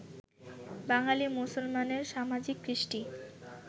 বাঙালী মুসলমানের সামাজিক কৃষ্টি